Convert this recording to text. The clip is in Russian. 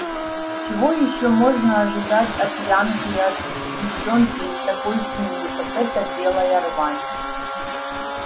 чего ещё можно ожидать от янки и от девчонки из такой семьи как эта белая рвань